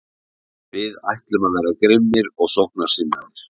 Við ætlum að vera grimmir og sóknarsinnaðir.